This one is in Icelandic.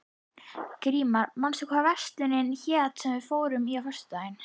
Grímar, manstu hvað verslunin hét sem við fórum í á föstudaginn?